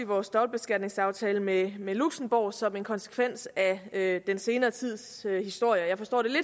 vores dobbeltbeskatningsaftale med med luxembourg som en konsekvens af den senere tids historier jeg forstår det